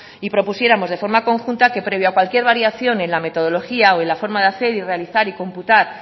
y propusiéramos de forma conjunta que previo a cualquier variación en la metodología o en la forma de hacer y realizar y computar